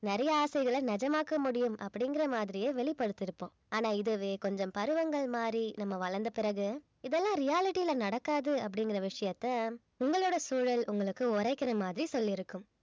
நிறைய ஆசைகளை நிஜமாக்க முடியும் அப்படிங்கிற மாதிரியே வெளிப்படுத்தியிருப்போம் ஆனா இதுவே கொஞ்சம் பருவங்கள் மாதிரி நம்ம வளர்ந்த பிறகு இதெல்லாம் reality ல நடக்காது அப்படிங்கிற விஷயத்த உங்களோட சூழல் உங்களுக்கு உரைக்கிற மாதிரி சொல்லிருக்கும்